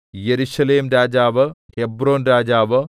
യെരൂശലേംരാജാവ് ഹെബ്രോൻരാജാവ്